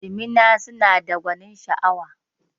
Jimina suna da gwanin sha'awa